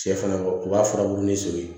Cɛ fana u b'a furabulu ni so ye